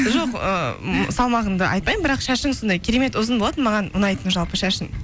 жоқ салмағыңды айтпаймын бірақ шашың сондай керемет ұзын болатын маған ұнайтын жалпы шашың